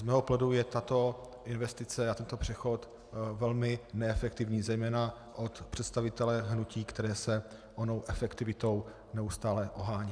Z mého pohledu je tato investice a tento přechod velmi neefektivní zejména od představitele hnutí, které se onou efektivitou neustále ohání.